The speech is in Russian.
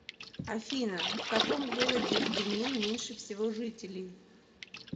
афина в каком городе в бенин меньше всего жителей